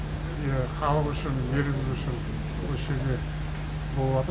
иә халық үшін еліміз үшін осы жерде болады